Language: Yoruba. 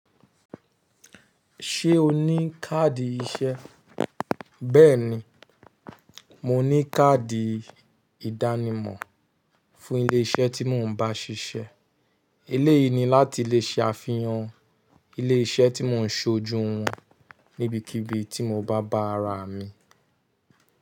Ṣé o ní káàdì iṣẹ́? Bẹ́ẹ̀ni, mo ní káàdì ìdánimọ̀ fún ilé iṣẹ́ tí mò ń bá ṣiṣẹ́. Eléyìí ni láti lè ṣe àfihàn ilé iṣẹ́ tí mò ń ṣojú wọn níbikíbi tí mo bá bá ara mi.